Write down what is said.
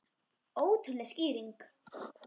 Ótrúleg skýring